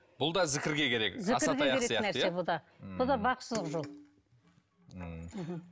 бұл да зікірге керек асатаяқ сияқты иә бұл да бақсылық жол ммм мхм